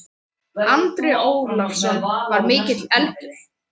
Andri Ólafsson: Var mikill eldur?